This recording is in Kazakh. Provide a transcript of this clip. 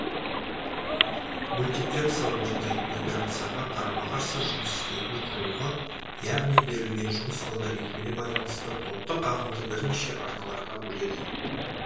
мультиплексор орындайтын операцияға қарама қарсы жұмыс істейтін құрылғы яғни берілген жұмыс алгоритміне байланысты топтық ағынды бірнеше арналарға бөледі